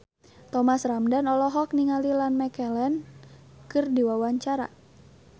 Thomas Ramdhan olohok ningali Ian McKellen keur diwawancara